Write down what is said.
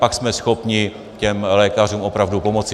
Pak jsme schopni těm lékařům opravdu pomoci.